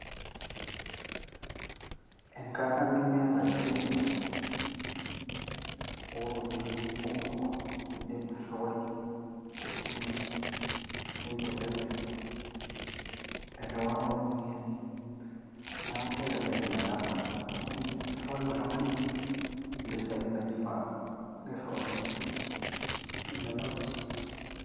Enkata nemita change oropiani kumok indim airiwai tesimu, nintelelek eriwata oropiani, niaku kelek ina kata amu indim ariwaki oltungani mpisai naifaa niriwakini duo nemilayu change.